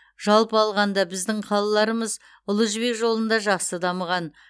жалпы алғанда біздің қалаларымыз ұлы жібек жолында жақсы дамыған